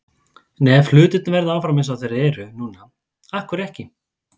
En ef hlutirnir verða áfram eins og þeir eru núna- af hverju ekki?